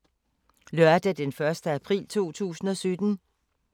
Lørdag d. 1. april 2017